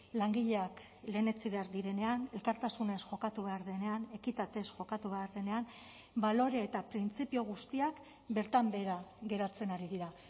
langileak lehenetsi behar direnean elkartasunez jokatu behar denean ekitatez jokatu behar denean balore eta printzipio guztiak bertan behera geratzen ari dira